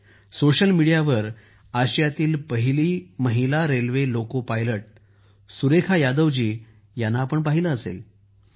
तुम्ही सोशल मीडियावर आशियातील पहिली महिला railway loco pilot Surekha Yadav ji यांना पाहिलं असेल